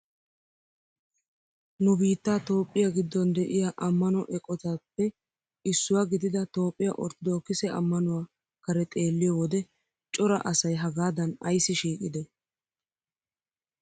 Nu biittaa itoophphiyaa giddon de'iyaa ammano eqotaappe issuwaa gidida toophphiyaa orttoodokise ammanuwaa kare xeelliyoo wode cora asay hagadan ayssi shiiqidee?